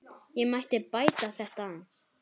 Ég mætti bæta þetta aðeins.